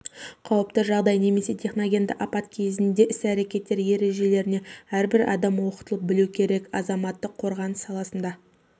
қауіпті жағдай немесе техногенді апат кезінде іс-әрекеттер ережелеріне әрбір адам оқытылып білу керек азаматтық қорғаныс саласында